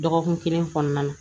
Dɔgɔkun kelen kɔnɔna na